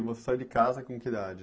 E você sai de casa com que idade?